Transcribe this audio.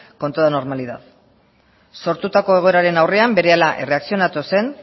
con toda normalidad sortutako egoeraren aurrean berehala erreakzionatu zen